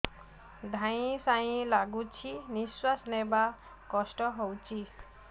ଧଇଁ ସଇଁ ଲାଗୁଛି ନିଃଶ୍ୱାସ ନବା କଷ୍ଟ ହଉଚି